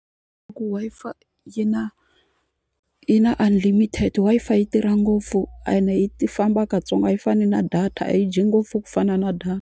Loko Wi-Fi yi na yi na unlimited Wi-Fi yi tirha ngopfu ende yi famba katsongo a yi fani na data a yi dyi ngopfu ku fana na data.